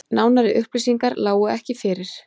Nánari upplýsingar lágu ekki fyrir